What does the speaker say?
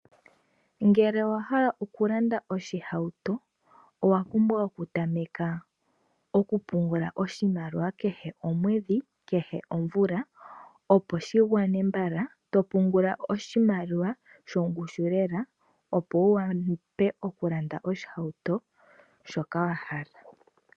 Ngele owahala okulanda oshihauto, owapumbwa oku tameka okupungula oshimaliwa kehe omwedhi, kehe omvula opo shi gwane mbala ,to pungula oshimaliwa shongushu lela opo wu wape okulanda oshihauto shoka wa hala.